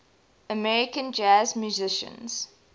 american jazz musicians